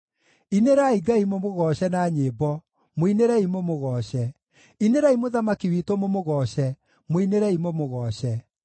Inĩrai Ngai mũmũgooce na nyĩmbo, mũinĩrei mũmũgooce; inĩrai Mũthamaki witũ mũmũgooce, mũinĩrei mũmũgooce.